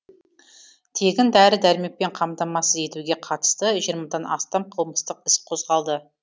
тегін дәрі дәрмекпен қамтамасыз етуге қатысты жиырмадан астам қылмыстық іс қозғалды